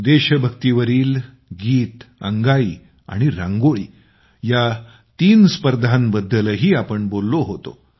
देशभक्तीवरील गीत अंगाई आणि रांगोळी या तीन स्पर्धांबद्दलही आम्ही बोललो होतो